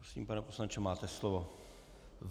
Prosím, pane poslanče, máte slovo.